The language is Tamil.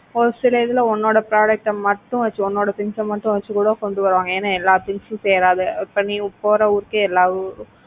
ஒரு சில இதுல உன்னோட product அ மட்டும் வச்சி உன்னோட things மட்டும் வச்சி கூட கொண்டு வருவாங்க. ஏன்னா எல்லா things உம் சேராத இப்ப நீ போற ஊருக்கே எல்லா,